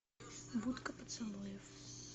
будка поцелуев